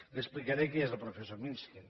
li explicaré qui és el professor mishkin